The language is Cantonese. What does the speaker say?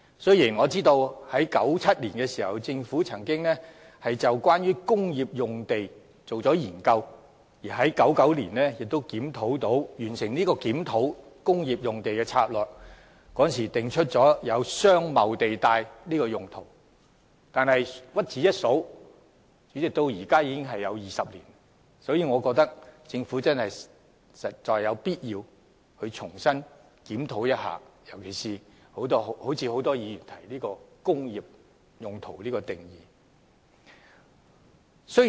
雖然政府曾在1997年進行有關工業用地的研究，並於1999年完成檢討工業用地策略，訂出"商貿地帶"用途，但屈指一算，檢討至今已有20年之久，我認為政府實有必要重新檢討，特別是檢討很多議員提到的"工業"定義。